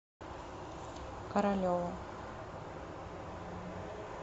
королеву